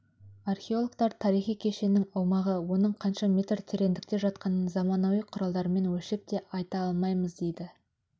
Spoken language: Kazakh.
археологтар тарихи кешеннің аумағы оның қанша метр тереңдікте жатқанын заманауи құралдармен өлшеп те айта алмаймыз дейді